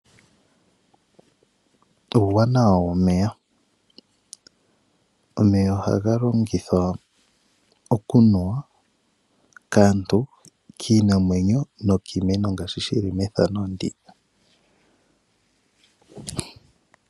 uuwanawa womeya. Omeya oha ga longithwa okunuwa kaantu, kiinamwenyo nokiimeno ngaashi uumeno woku opaleka momagumbo.